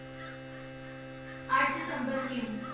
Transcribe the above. ਅੱਠ ਸਤੰਬਰ ਕਿਉਂ?